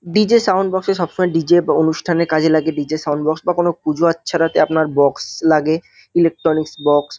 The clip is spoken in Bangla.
ডি.জে সাউন্ড বক্স -এ সবসময় ডি.জে. অনুষ্ঠানে কাজে লাগে ডি.জে. সাউন্ড বক্স বা কোনও পুজো আচ্ছারাতে আপনার বক্স লাগে ইলেকট্রনিক্স বক্স ।